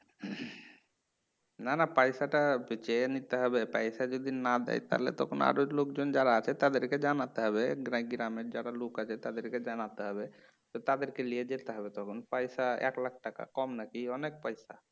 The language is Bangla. না না পয়সাটা চেয়ে নিতে হবে পয়সা যদি না দেই তাহলে তখন আরও লোকজন যারা আছে তাদেরকে জানাতে হবে গ্রামের যারা লোক আছে তাদের কে জানাতে হবে তো তাদেরকে লিয়ে যেতে হবে তখন পয়সা এক লাখ টাকা কম নাকি অনেক পয়সা